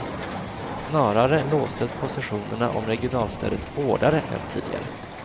Snarare låstes positionerna om regionalstödet hårdare än tidigare.